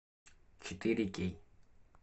четыре кей